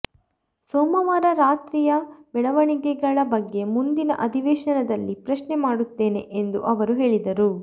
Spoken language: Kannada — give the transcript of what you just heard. ಸೋಮವಾರ ರಾತ್ರಿಯ ಬೆಳವಣಿಗೆಗಳ ಬಗ್ಗೆ ಮುಂದಿನ ಅಧಿವೇಶನದಲ್ಲಿ ಪ್ರಶ್ನೆ ಮಾಡುತ್ತೇನೆ ಎಂದು ಅವರು ಹೇಳಿದರು